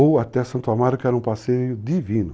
ou até Santo Amaro, que era um passeio divino.